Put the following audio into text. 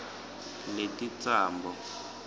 lelitsambo